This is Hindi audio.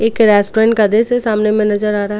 एक रेस्टोरेंट का आदेश से सामने में नजर आ रहा है.